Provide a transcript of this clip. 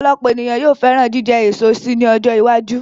Ọ̀pọ̀lọpọ̀ ènìyàn yóò fẹ́ràn jíjẹ eso si ní ọjọ́ iwájú